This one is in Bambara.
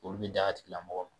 Olu bi d'a tigilamɔgɔ ma.